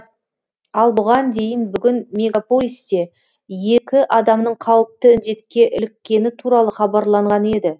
ал бұған дейін бүгін мегаполисте екі адамның қауіпті індетке іліккені туралы хабарланған еді